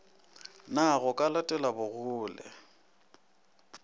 na go ka letelwa bogole